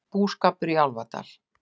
Búskapur í Álfadal